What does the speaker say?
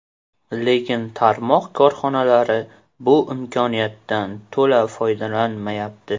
Lekin tarmoq korxonalari bu imkoniyatdan to‘la foydalanmayapti.